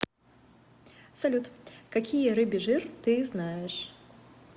салют какие рыбий жир ты знаешь